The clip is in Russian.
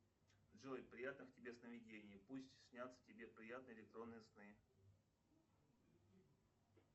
джой приятных тебе сновидений пусть снятся тебе приятные электронные сны